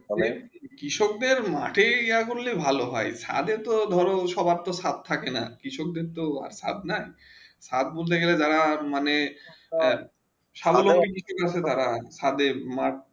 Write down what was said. কৃষক দের মাটি যা করলে ভালো হয়ে খাদে তো সবার সাথে থাকে না কৃষক দের তো আর সাথ না সৎবুকেঁ দাড়ান মানে খাদের মর্গে